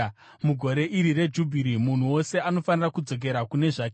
“ ‘Mugore iri reJubhiri munhu wose anofanira kudzokera kune zvake.